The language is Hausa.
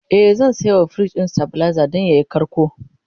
e zan sayawa firij ɗin stabilizer Dan yayi karko